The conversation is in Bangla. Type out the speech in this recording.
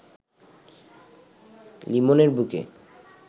লিমনের বুকে